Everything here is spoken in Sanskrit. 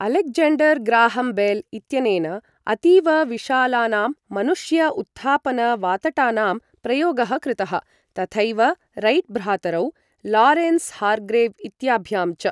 अलेक्ज़ेण्डर् ग्राहम् बेल् इत्यनेन अतीव विशालानां मनुष्य उत्थापन वातटानां प्रयोगः कृतः, तथैव रैट् भ्रातरौ, लारेन्स् हार्ग्रेव् इत्याभ्यां च।